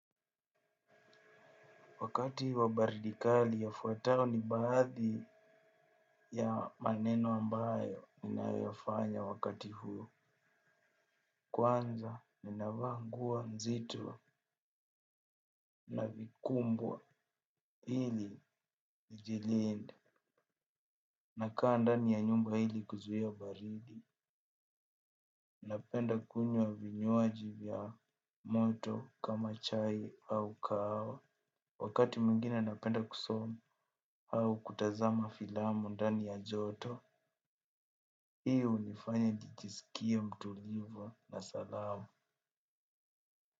Wakati wabaridi kali yafuayo ni baadhi ya maneno ambayo ninayoyafanya wakati huo. Kwanza ninavaa nguo nzito na vikubwa ili nijilinde. Nakaa ndani ya nyumba ili kuzuia baridi. Napenda kunywa vinywaji vya moto kama chai au kahawa. Wakati muingine napenda kusoma au kutazama filamu ndani ya joto. Hio hunifanya nijisikia mtulivu na salama.